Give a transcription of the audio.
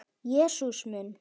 Jesús minn!